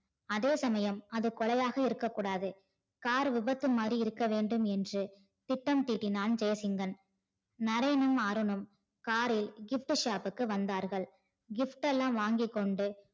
அதேசமயம் அது கொலையாக இருக்கக்கூடாது car விபத்து மாறி இருக்க வேண்டும் என்று திட்டம் தீட்டினான் ஜெய்சிங்கன். நரேனும் அருணும் காரில் gift shop க்கு வந்தார்கள் gift எல்லாம் வாங்கிக்கொண்டு